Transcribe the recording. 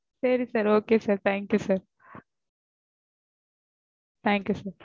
சரி sir okay sir. thank you sir. thank you sir